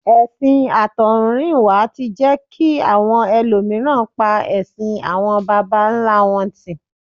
Ẹ̀sìn àtọ̀húnrìnwá tí jẹ́ kí àwọn ẹlòmíràn pa ẹṣin àwọn bàbá ńlá wọn tì